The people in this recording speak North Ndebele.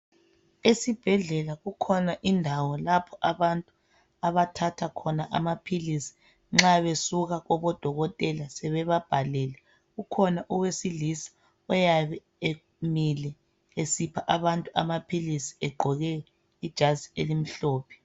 Esibhedlela kukhona indawo lapha abantu abathatha khona amaphilizi nxa besuka kubo dokotela sebeba bhalele kukhona owesilisa oyabe emile esipha abantu amaphilizi egqoke ijazi elimhlophe